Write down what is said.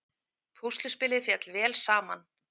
Púsluspilið féll vel saman